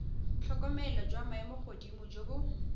tlhokomelo jwa maemogodimo jo bo